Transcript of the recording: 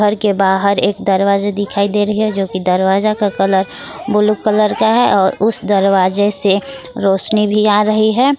के बाहर एक दरवाजे दिखाई दे रही है जो की दरवाजा का कलर ब्लू कलर का है और उस दरवाजे से रोशनी भी आ रही है।